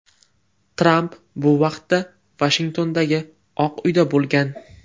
Tramp bu vaqtda Vashingtondagi Oq uyda bo‘lgan.